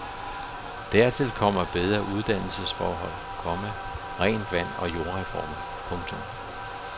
Dertil kommer bedre uddannelsesforhold, komma rent vand og jordreformer. punktum